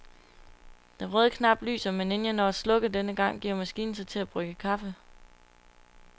Den røde knap lyser, men inden jeg når at slukke denne gang, giver maskinen sig til at brygge kaffe.